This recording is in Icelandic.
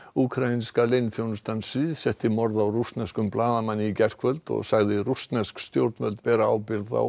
úkraínska leyniþjónustan sviðsetti morð á rússneskum blaðamanni í gærkvöld og sagði rússnesk stjórnvöld bera ábyrgð á